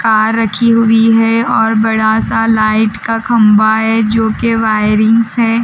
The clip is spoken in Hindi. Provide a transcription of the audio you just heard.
कार रखी हुई है और बड़ा सा लाइट का खंबा है जोके वायरिंग्स हैं --